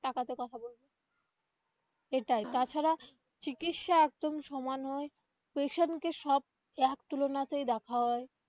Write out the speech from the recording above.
টাকা তে কথা বলবে এটাই তাছাড়া চিকিৎসা একদমই সমান হয় patient কে সব এক তূলনা তেই দেখা হয়.